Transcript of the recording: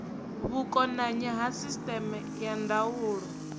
vhukonanyi ha sisteme ya ndaulo